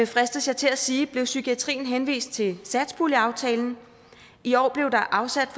fristes jeg til at sige blev psykiatrien henvist til satspuljeaftalen i år blev der afsat